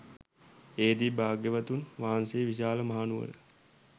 එහිදී භාග්‍යවතුන් වහන්සේ විශාලා මහනුවර